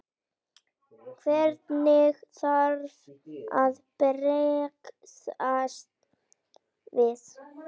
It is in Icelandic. Hvernig þarf að bregðast við?